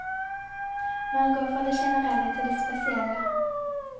Man går fra det generelle til det spesielle.